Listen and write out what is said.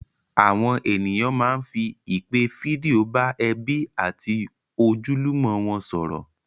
Àwọn ènìyàn máá ń fi ìpè fídíò bá ẹbí àti ojúlùmọ̀ wọn sọ̀rọ̀